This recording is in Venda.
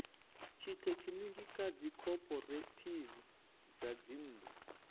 tshithekhiniki kha dzikhophorethivi dza dzinnḓu